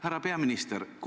Härra peaminister!